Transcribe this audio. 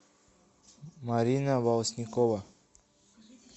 марина волоснякова